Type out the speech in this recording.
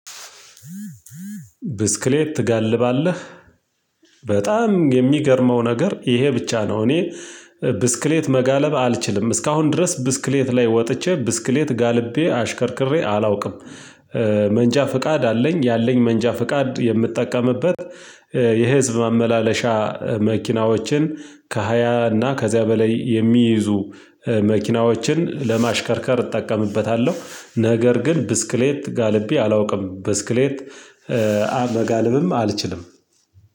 ብስክሌት ትጋልባለህ? በጣም የሚገርመው ነገር ይሄ ብቻ ነው እኔ ብስክሌት መጋለብ አልችልም። እስካሁን ድረስ ብስክሌት ላይ ወጥቼ ብስክሌት ጋልቤ አሽከርክሬ አላውቅም። መንጃ ፍቃድ አለኝ ያለኝ መንጃ ፍቃድ የምጠቀምበት የህዝብ ማመላለሻ መኪናዎችን ከሃያ እና ከዚያ በላይ የሚይዙ መኪናዎችን ለማሽከርከር እጠቀምበታለሁ ነገር ግን ብስክሌት ጋልቤ አላውቅም ብስክሌት መጋለብም አልችልም።